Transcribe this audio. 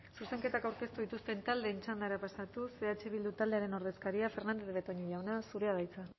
zuzenketak aurkeztu dituzten taldeen txandara pasatuz eh bildu taldearen ordezkaria fernandez de betoño jauna zurea da hitza